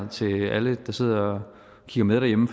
til alle der sidder og kigger med derhjemme